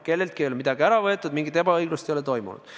Kelleltki ei ole midagi ära võetud, mingit ebaõiglust ei ole olnud.